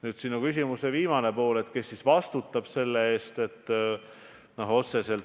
Nüüd, sinu küsimuse viimane pool: kes vastutab?